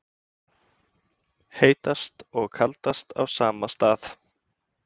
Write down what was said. Heitast og kaldast á sama stað